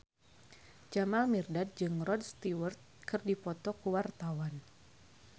Jamal Mirdad jeung Rod Stewart keur dipoto ku wartawan